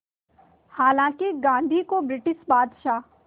हालांकि गांधी को ब्रिटिश बादशाह